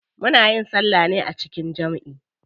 Muna yin salla ne a jikin jamʼi.